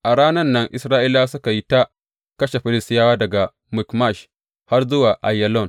A ranan nan Isra’ilawa suka yi ta kashe Filistiyawa daga Mikmash har zuwa Aiyalon.